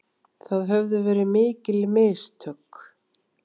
Það höfðu verið mikil mistök.